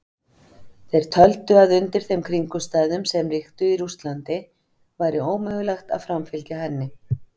Þeir töldu að undir þeim kringumstæðum sem ríktu í Rússlandi væri ómögulegt að framfylgja henni.